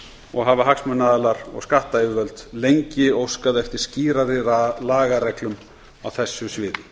og hafa hagsmunaaðilar og skattyfirvöld lengi óskað eftir skýrari lagareglum á þessu sviði